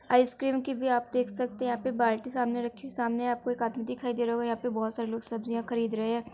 Ice cream की भी आप देख सकते हैं। यहाँ पे बाल्टी सामने रखी हुई। सामने आपको एक आदमी दिखाई दे रहा होगा। यहाँ पे बहुत सारें लोग सब्जियाॅं खरीद रहे है।